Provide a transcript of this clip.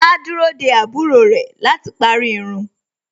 Áá dúró dé àbúrò ẹ̀ láti parí irun.